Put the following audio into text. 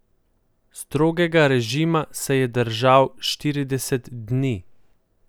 Strogega režima se je držal štirideset dni.